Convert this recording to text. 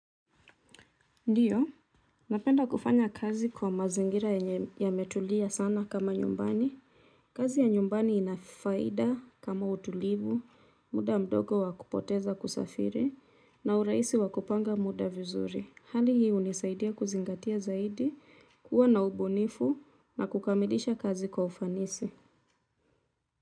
Ndiyo, napenda kufanya kazi kwa mazingira yenye yametulia sana kama nyumbani. Kazi ya nyumbani ina faida kama utulivu, muda mdogo wa kupoteza kusafiri, na urahisi wa kupanga muda vizuri. Hali hii hunisaidia kuzingatia zaidi, kuwa na ubunifu na kukamilisha kazi kwa ufanisi.